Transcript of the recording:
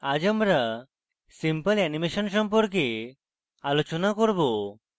আজ আমরা simple animation সম্পর্কে আলোচনা করব